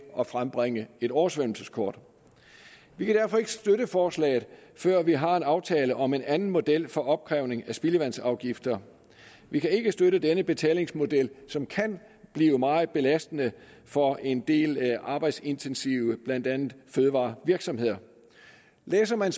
at frembringe et oversvømmelseskort vi kan derfor ikke støtte forslaget før vi har en aftale om en anden model for opkrævning af spildevandsafgifter vi kan ikke støtte denne betalingsmodel som kan blive meget belastende for en del arbejdsintensive blandt andet fødevarevirksomheder læser man